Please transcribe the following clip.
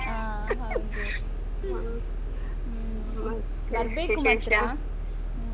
ಹ ಹೌದು ಹ್ಮ್ ಹ್ಮ್ ಬರ್ಬೇಕು ಮಾತ್ರ ಹ್ಮ್.